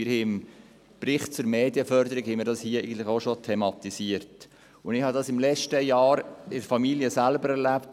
Dies haben wir beim Bericht zur Medienförderung auch schon thematisiert, und letztes Jahr erlebte ich es selbst in der Familie: